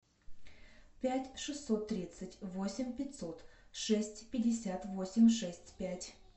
пять шестьсот тридцать восемь пятьсот шесть пятьдесят восемь шесть пять